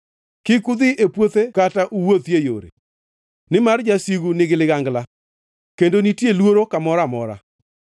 Kik udhi e puothe kata uwuothie yore, nimar jasigu nigi ligangla, kendo nitie luoro kamoro amora.